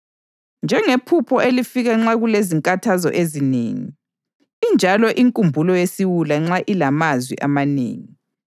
Njengephupho elifika nxa kulezinkathazo ezinengi, injalo inkulumo yesiwula nxa ilamazwi amanengi.